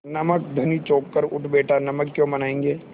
नमक धनी चौंक कर उठ बैठा नमक क्यों बनायेंगे